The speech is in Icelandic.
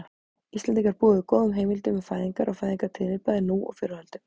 Íslendingar búa yfir góðum heimildum um fæðingar og fæðingartíðni bæði nú og fyrr á öldum.